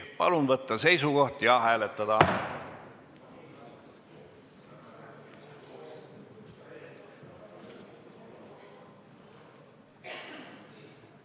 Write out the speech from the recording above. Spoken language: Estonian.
Palun võtta seisukoht ja hääletada!